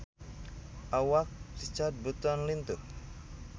Awak Richard Burton lintuh